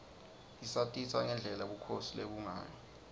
isatisa ngendlela bukhosi lobebungayo